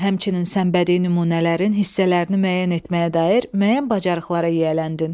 Həmçinin sən bədii nümunələrin hissələrini müəyyən etməyə dair müəyyən bacarıqlara yiyələndin.